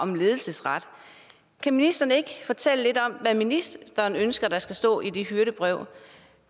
om ledelsesret kan ministeren ikke fortælle lidt om hvad ministeren ønsker der skal stå i det hyrdebrev